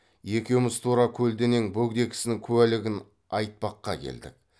екеуміз тура көлденең бөгде кісінің куәлігін айтпаққа келдік